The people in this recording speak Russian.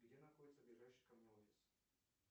где находится ближайший ко мне офис